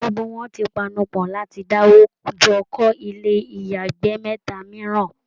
Gbogbo wọn ti panupọ̀ láti dáwó jọ kọ́ ilé ìyàgbẹ́ mẹ́ta mìíràn